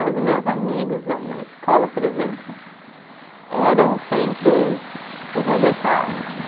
Mas os meus amigos na escola, por exemplo, eram sempre os os rejeitados.